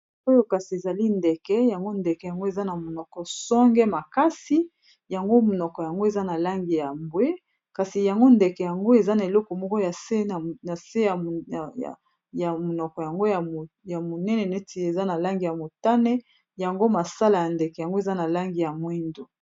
Oyo kasi ezali ndeke, yango ndeke yango eza na monoko songe makasi. Yango monoko yango eza na langi ya mbwe, kasi yango ndeke yango eza na eleko moko na se ya monoko yango ya monene neti eza na langi ya motane yango masala ya ndeke yango eza na langi ya mwindo.